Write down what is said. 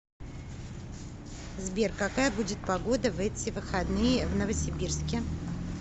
сбер какая будет погода в эти выходные в новосибирске